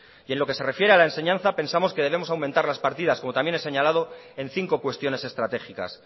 y en lo que se refiere a la enseñanza pensamos que debemos aumentar las partidas como también he señalado en cinco cuestiones estratégicas